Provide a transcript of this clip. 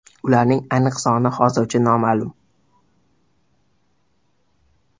Ularning aniq soni hozircha noma’lum.